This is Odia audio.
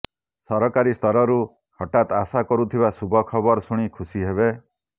ସରକାରୀ ସ୍ତରରୁ ହଠାତ୍ ଆଶା କରୁଥିବା ଶୁଭ ଖବର ଶୁଣି ଖୁସି ହେବେ